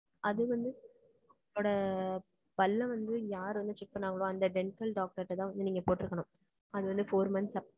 அது வந்து, உங்களோட பல்ல வந்து, யாரு வந்து, check பண்ணாங்களோ, அந்த dental டாக்டர் தான் வந்து, நீங்க போட்டிருக்கணும். அது வந்து, four months ஆ